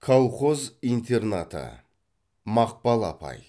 колхоз интернаты мақпал апай